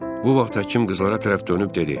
Bu vaxt həkim qızlara tərəf dönüb dedi: